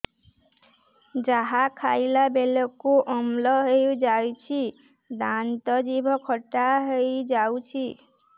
ଯାହା ଖାଇଲା ବେଳକୁ ଅମ୍ଳ ହେଇଯାଉଛି ଦାନ୍ତ ଜିଭ ଖଟା ହେଇଯାଉଛି